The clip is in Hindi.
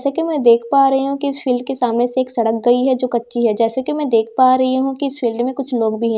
जैसा कि मैं देख पा रही हूँ कि इस फील्‍ड के सामने से एक सड़क गई है जो कच्‍ची है जैसा से कि मैं देख पा रही हूँ कि इस फील्‍ड में कुछ लोग भी हैं।